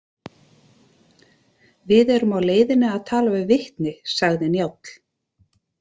Við erum á leiðinni að tala við vitni, sagði Njáll.